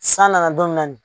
San nana don minna nin.